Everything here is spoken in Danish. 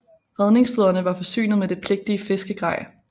Redningsflåderne var forsynet med det pligtige fiskegrej